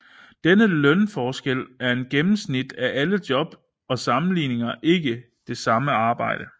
Denne lønforskel er et gennemsnit af alle i job og sammenligner ikke det samme arbejde